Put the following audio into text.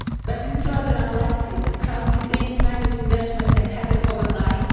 But it is rather unlikely that crowding-in private investment can happen overnight.